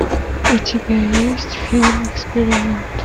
у тебя есть фильм эксперимент